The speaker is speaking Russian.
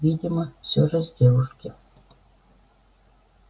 видимо все же с девушки